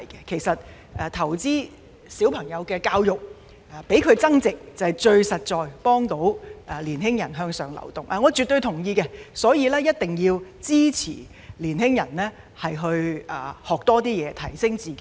其實，投資於小朋友的教育，讓他們增值，是最實在能幫助青年人向上流動，我絕對同意，所以一定要支持青年人在多方面學習，提升自己。